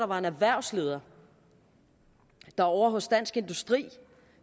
var en erhvervsleder der ovre hos dansk industri